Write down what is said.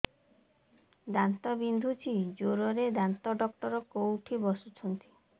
ଦାନ୍ତ ବିନ୍ଧୁଛି ଜୋରରେ ଦାନ୍ତ ଡକ୍ଟର କୋଉଠି ବସୁଛନ୍ତି